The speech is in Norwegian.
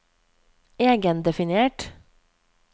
egendefinert